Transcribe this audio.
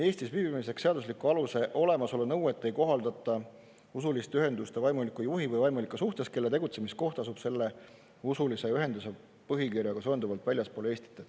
Eestis viibimiseks seadusliku aluse olemasolu nõuet ei kohaldata usuliste ühenduste vaimuliku juhi või vaimulike suhtes, kelle tegutsemiskoht asub selle usulise ühenduse põhikirjaga seonduvalt väljaspool Eestit.